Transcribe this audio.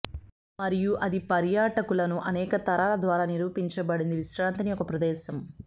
మరియు అది పర్యాటకులను అనేక తరాల ద్వారా నిరూపించబడింది విశ్రాంతిని ఒక ప్రదేశం